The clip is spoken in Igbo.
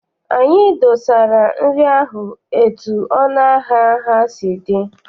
Anyị dosara nri ahụ etu ọnụ ahịa ha si dị.